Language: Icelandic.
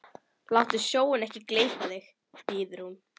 Láttu sjóinn ekki gleypa þig, biður hún.